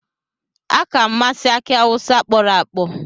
Aka m masi aki awusa kporo-akpo.